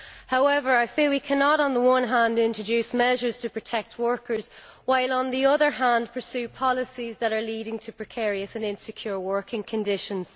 However, I feel we cannot on the one hand introduce measures to protect workers while on the other hand we pursue policies that are leading to precarious and insecure working conditions.